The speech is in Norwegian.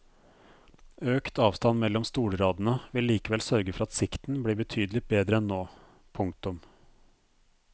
Økt avstand mellom stolradene vil likevel sørge for at sikten blir betydelig bedre enn nå. punktum